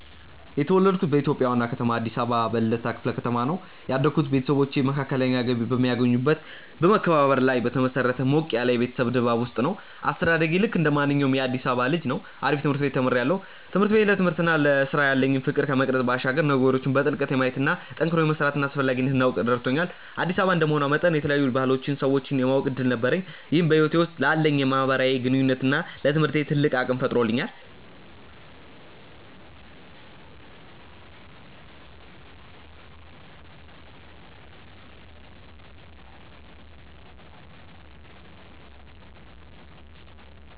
የተወለድኩት በኢትዮጵያ ዋና ከተማ አዲስ አበባ በልደታ ክፍለ ከተማ ነው። ያደግኩት ቤተሰቦቼ መካከለኛ ገቢ በሚያገኙበት በመከባበርና ላይ በተመሰረተ ሞቅ ያለ የቤተሰብ ድባብ ውስጥ ነው። አስተዳደጌ ልክ እንደማንኛውም የአዲሳባ ልጅ ነው አሪፍ ትምርት ቤት ተምሪያለሁ። ትምህርት ቤቴ ለትምህርትና ለስራ ያለኝን ፍቅር ከመቅረጽ ባሻገር ነገሮችን በጥልቀት የማየትና ጠንክሮ የመስራትን አስፈላጊነት እንዳውቅ ረድቶኛል። አዲስ አበባ እንደመሆኗ መጠን የተለያዩ ባህሎችንና ሰዎችን የማወቅ እድል ነበረኝ ይህም በህይወቴ ውስጥ ላለኝ የማህበራዊ ግንኙነትና ለትምህርቴ ትልቅ አቅም ፈጥሮልኛል።